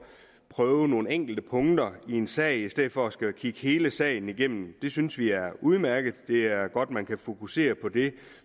prøve nogle enkelte punkter i en sag i stedet for at skulle kigge hele sagen igennem synes vi er udmærket det er godt at man kan fokusere på det